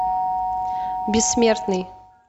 бессмертный